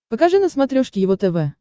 покажи на смотрешке его тв